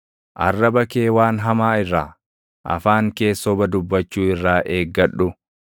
Arraba kee waan hamaa irraa, afaan kees soba dubbachuu irraa eeggadhu.